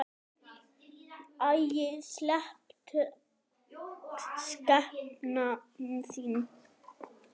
Æi, slepptu skepnan þín!